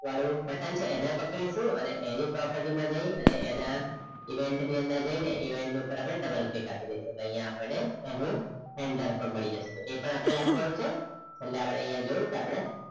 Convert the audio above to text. વાળું button છે એના પર click કરવું અને એની property મા જય એના event ની અંદર જઈને event પર આપડે double click આપી દેઈસુ એટલે અહીંયા આપણ ને એનું handler પણ મળી જશે એટલે એ પણ આપણે લખવાનું છે પેલે આપડે અહીંયા જોયું કે આપડે